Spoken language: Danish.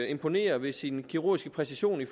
imponerer ved sin kirurgiske præcision i